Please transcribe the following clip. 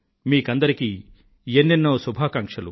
మీకందరికీ ఎన్నెన్నో శుభాకాంక్షలు